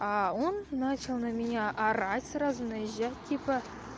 а он начал на меня орать сразу наезжать типа